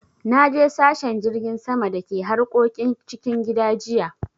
Naje sashen jirgin sama da ke harkokin cikin gida jiya.